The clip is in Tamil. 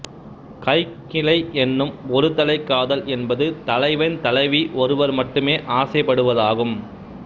கைக்கிளை என்னும் ஒருதலைக்காதல் என்பது தலைவன்தலைவி ஒருவர் மட்டுமே ஆசைப்படுவதாகும்